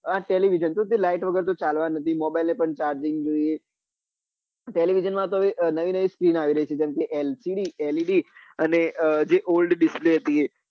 હા televisio તો તે llight વગર તો ચાલવાની નથી mobile ને પણ charging જોઈએ television માં તો હવે નવી નવી screen આવી રહી છે જેમ કે LCD led અને જે old display હતી એ